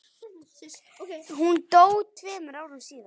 Hún dó tveimur árum síðar.